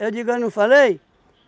digo, eu não falei?